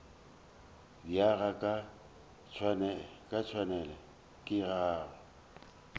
diega ga tšhwene ke go